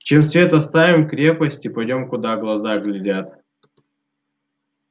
чем свет оставим крепость и пойдём куда глаза глядят